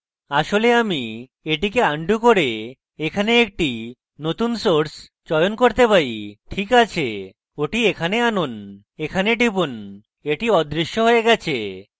আসলে আমি এটিকে আনডু করে এখানে একটি নতুন source চয়ন করতে পারি ঠিক আছে ওটি এখানে আনুন এখানে টিপুন এবং এটি অদৃশ্য হয়ে গেছে